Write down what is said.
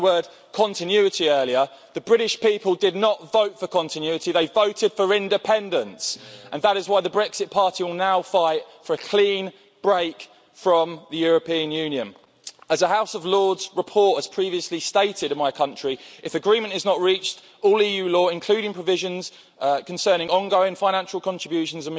We heard the word continuity' earlier. The British people did not vote for continuity, they voted for independence, and that is why the Brexit Party will now fight for a clean break from the European Union. As a House of Lords report has previously stated in my country, if agreement is not reached, all EU law, including provisions concerning ongoing financial contributions